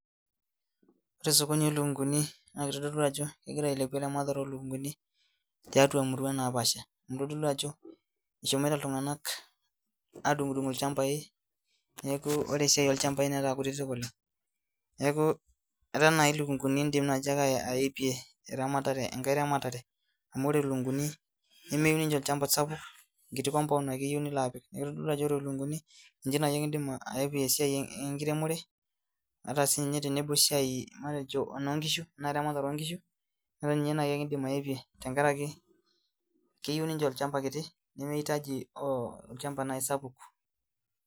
Ore osokoni lolukunguni na kitadolu ajo egira ailepu eramatare olukunguni tiatua emurua naapasha kitadolu ajo eshomoita ltunganak adungdung lchambai neaku ore esiai olchamba nataa kinyi oleng neaku etaa naii ilikunguni indim ake oltungani aipare amu ore lukunguni nemeyieu ninche olchamba sapuk nkuti lukunguni ake elo atum neaku kitodolu ajo ore lukunguni nji naake indimbaepie esiai enkiremore metaa sinye tenemut aa esiai onkishu anata nai ake indim aepie tenkaraki keyieu ninche olchamba kiti nimihutaji olchamba sapuk.